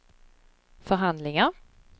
förhandlingar